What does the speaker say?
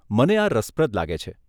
મને આ રસપ્રદ લાગે છે.